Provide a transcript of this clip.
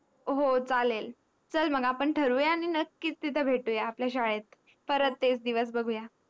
आनी हो चालेल आपण ठरवूया आनी नक्कीच तिथ भेटूया तिथ आपल्या श्य्लेत परत तेच दिवस बघूया